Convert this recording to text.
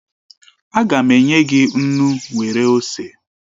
Aga m enye gị nnu nwere ose